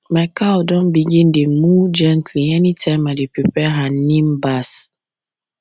my cow don begin dey moo gently anytime i dey prepare her neem bath